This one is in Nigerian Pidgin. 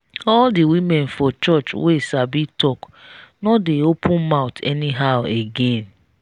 all the women for church wey sabi talk no dey open mouth anyhow again